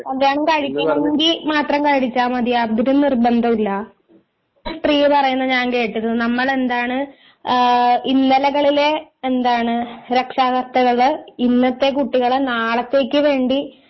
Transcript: കല്യാണം കഴിക്കണമെങ്കില് മാത്രം കഴിച്ചാ മതി യാതൊരു നിർബന്ധവുമില്ല സ്ത്രീ പറയണേ ഞാൻ കേട്ടിക്ക് നമ്മളെന്താണു ഇന്നലകളിലെ എന്താണ് രക്ഷാകർത്താക്കള് ഇന്നത്തെ കുട്ടികളെ നാളത്തേക്കു വേണ്ടി